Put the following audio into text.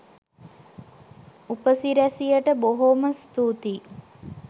උපසිරැසියට බොහෝම ස්තුතියි